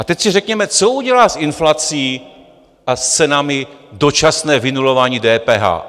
A teď si řekněme, co udělá s inflací a s cenami dočasné vynulování DPH?